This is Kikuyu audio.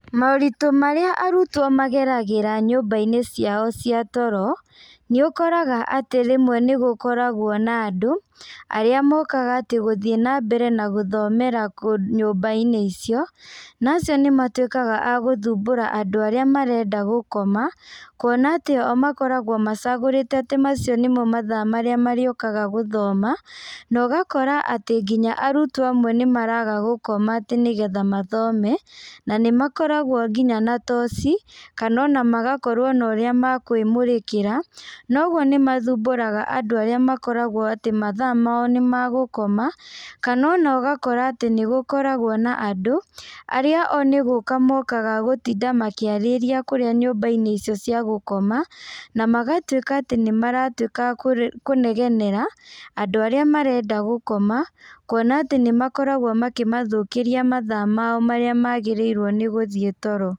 Maũritũ marĩa arutwo mageragĩra nyũmbainĩ ciao cia toro, nĩũkoraga atĩ rĩmwe nĩgũkoragwo na andũ, arĩa mokaga atĩ gũthiĩ nambere na gũthomera nyũmbainĩ icio, na acio nĩmatuĩkaga a gũthumbũra andũ arĩa marenda gũkoma, kuona atĩ o makoragwo macagũrĩte atĩ macio nĩmo mathaa marĩũkaga gũthoma, na ũgakora atĩ nginya arutwo amwe nĩmaraga gũkoma atĩ nĩgetha mathome, na nĩmakoragwo nginya na toci, kana ona magakorwo na ũrĩa makwĩmũrĩkĩra, na ũguo nĩmathumburaga andũ arĩa makoragwo atĩ mathaa mao nĩmagũkoma, kana ona ũgakora atĩ nĩgũkoragwo na andũ, arĩa o nĩgũka mokaga gũtinda makĩarĩria kũrĩa nyumbainĩ icio cia gũkoma, namagatuĩka atĩ nĩmaratuĩka a kũ kũnegenera, andũ arĩa marenda gũkoma, kuona atĩ nĩmakoragwo makĩmathũkĩria mathaa mao marĩa magĩrĩirwo nĩ gũthiĩ toro.